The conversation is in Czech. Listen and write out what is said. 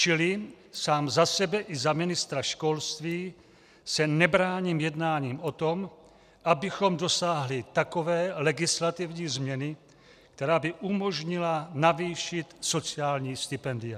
Čili sám za sebe i za ministra školství se nebráním jednání o tom, abychom dosáhli takové legislativní změny, která by umožnila navýšit sociální stipendia.